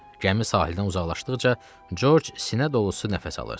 Gəmi sahildən uzaqlaşdıqca, Corc sinə dolusu nəfəs alırdı.